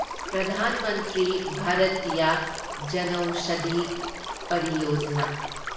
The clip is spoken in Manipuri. ꯄ꯭ꯔꯙꯥꯟ ꯃꯟꯇ꯭ꯔꯤ ꯚꯥꯔꯇꯤꯌꯥ ꯖꯅꯧꯁꯥꯙꯤ ꯄꯔꯤꯌꯣꯖꯥꯅꯥ’